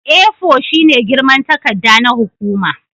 A4 shine girman takarda na hukuma